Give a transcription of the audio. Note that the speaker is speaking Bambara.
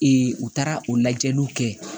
u taara o lajɛliw kɛ